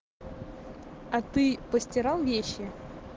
а ты постирал вещи